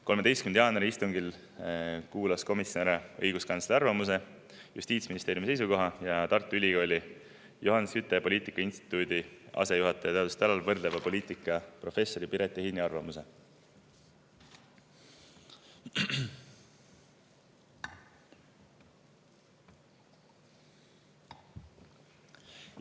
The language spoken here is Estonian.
13. jaanuari istungil kuulas komisjon ära õiguskantsleri arvamuse, Justiitsministeeriumi seisukoha ja Tartu Ülikooli Johan Skytte poliitikauuringute instituudi asejuhataja teadustöö alal, võrdleva poliitika professori Piret Ehini arvamuse.